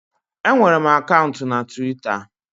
Enwere m akaụntụ na Twita